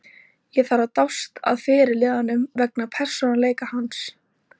Ég þarf að dást að fyrirliðanum vegna persónuleika hans.